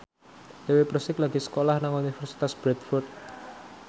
Dewi Persik lagi sekolah nang Universitas Bradford